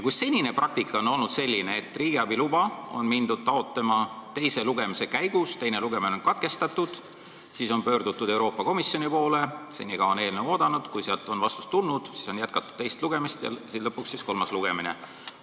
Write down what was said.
Senine praktika on olnud selline, et riigiabiluba on hakatud taotlema teise lugemise käigus, teine lugemine on katkestatud, siis on pöördutud Euroopa Komisjoni poole ja senikaua on eelnõu oodanud, kuni sealt on vastus tulnud, siis on jätkatud teist lugemist ja lõpuks on tulnud kolmas lugemine.